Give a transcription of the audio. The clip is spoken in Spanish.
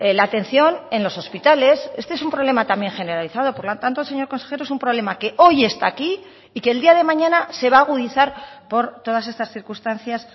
la atención en los hospitales este es un problema también generalizado por lo tanto señor consejero es un problema que hoy está aquí y que el día de mañana se va a agudizar por todas estas circunstancias